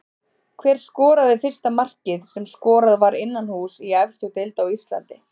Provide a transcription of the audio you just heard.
Hver skoraði fyrsta markið sem skorað var innanhúss í efstu deild á Íslandi?